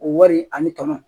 O wari ani tɔnɔ